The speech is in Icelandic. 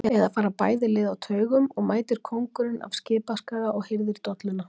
Eða fara bæði lið á taugum og mætir kóngurinn af Skipaskaga og hirðir dolluna?